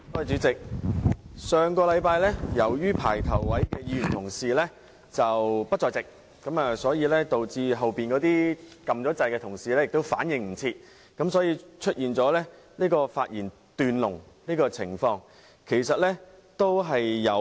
主席，上星期由於排在前面發言的議員不在席，導致後面已按"要求發言"按鈕的同事來不及反應，因而出現了發言"斷龍"的情況。